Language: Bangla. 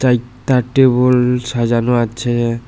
চাইরট্যা টেবল সাজানো আছে।